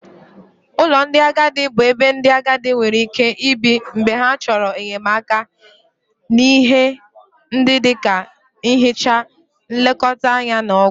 Ụlọ ndị agadi bụ ebe ndị agadi nwere ike ibi mgbe ha chọrọ enyemaka n'ihe ndị dị ka nhicha, nlekọta anya na ọgwụ.